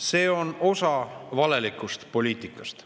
See on osa valelikust poliitikast.